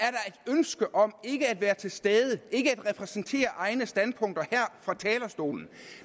ønske om ikke at være til stede ikke at repræsentere egne standpunkter her fra talerstolen